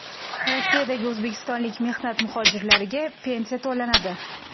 Rossiyadagi o‘zbekistonlik mehnat muhojirlariga pensiya to‘lanadi.